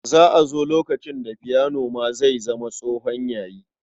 Za a zo lokacin da fiyanon ma zai zama tsohon yayi.